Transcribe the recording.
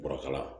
Bɔrɔkala